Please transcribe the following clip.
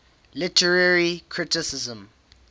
literary criticism